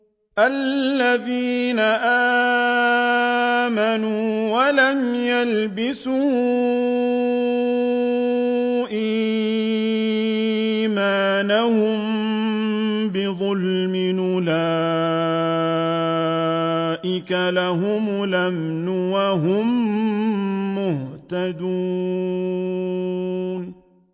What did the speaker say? الَّذِينَ آمَنُوا وَلَمْ يَلْبِسُوا إِيمَانَهُم بِظُلْمٍ أُولَٰئِكَ لَهُمُ الْأَمْنُ وَهُم مُّهْتَدُونَ